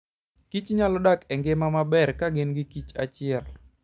kichnyalo dak e ngima maber ka gin gi kichachiel.